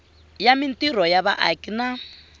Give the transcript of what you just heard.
ya mintirho ya vaaki na